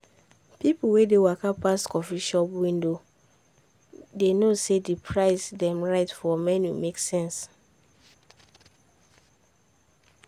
people wey waka pass coffee shop window dey know say di price dem write for menu make sense.